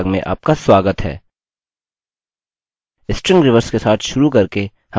string reverse के साथ शुरू करके हम अन्य फंक्शंस को देखेंगे